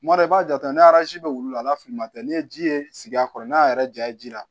Kuma dɔ i b'a jate ni arazi bɛ wili la finma tɛ n'i ye ji ye sigi a kɔrɔ n'a y'a yɛrɛ ja i ji la